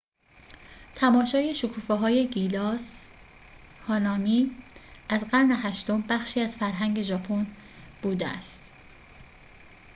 تماشای شکوفه‌های گیلاس هانامی از قرن هشتم بخشی از فرهنگ ژاپن بوده است